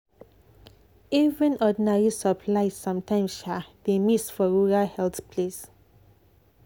even ordinary supplies sometimes um dey miss for rural health place.